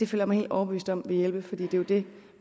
føler mig helt overbevist om at det vil hjælpe for det er jo det